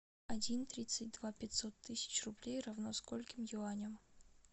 один тридцать два пятьсот тысяч рублей равно скольким юаням